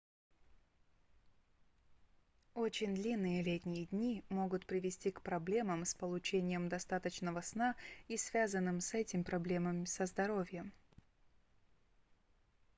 очень длинные летние дни могут привести к проблемам с получением достаточного сна и связанным с этим проблемам со здоровьем